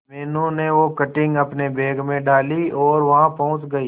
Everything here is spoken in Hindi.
मीनू ने वो कटिंग अपने बैग में डाली और वहां पहुंच गए